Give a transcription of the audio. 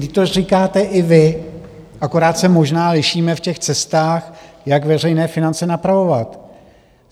Vždyť to říkáte i vy, akorát se možná lišíme v těch cestách, jak veřejné finance napravovat.